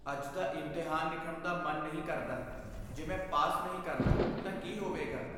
ਅੱਜ ਦਾ ਇਮਤਿਹਾਨ ਲਿਖਣ ਦਾ ਮਨ ਨਹੀਂ ਕਰਦਾ। ਜੇ ਮੈਂ ਪਾਸ ਨਹੀਂ ਕਰਦਾ ਤਾਂ ਕੀ ਹੋਵੇਗਾ?